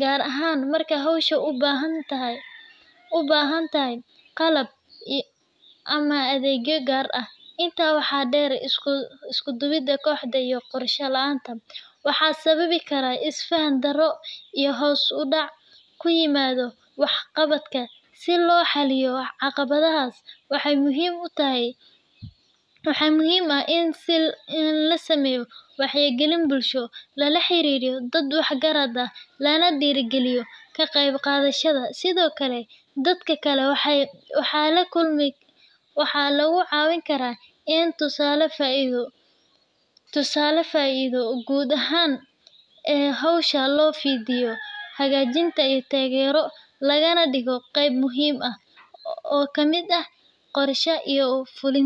gaar ahaan marka hawshu u baahan tahay qalab ama adeegyo gaar ah. Intaa waxaa dheer, isku-duwidda kooxda iyo qorshe la’aanta waxay sababi karaan is-faham darro iyo hoos u dhac ku yimaada waxqabadka. Si loo xaliyo caqabadahaas, waxaa muhiim ah in la sameeyo wacyigelin bulsho, lala xiriiro dad wax garad ah, lana dhiirrigeliyo ka qaybqaadashada. Sidoo kale, dadka kale waxaa lagu caawin karaa in la tuso faa’iidada guud ee hawsha, loo fidiyo hagitaan iyo taageero, lagana dhigo qeyb muhiim ah oo ka mid ah qorshaha iyo fulinta.